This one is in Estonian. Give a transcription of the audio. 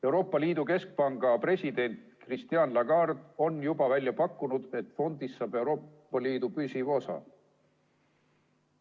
Euroopa Liidu keskpanga president Christine Lagarde on juba välja pakkunud, et fondist saab Euroopa Liidu püsiv osa.